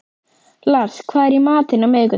Lars, hvað er í matinn á miðvikudaginn?